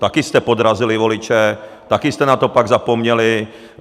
Taky jste podrazili voliče, taky jste na to pak zapomněli.